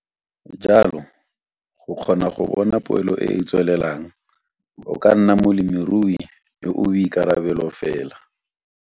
Jalo, go kgona go bona poelo e e tswelelang, o ka nna molemirui yo o boikarebelo fela.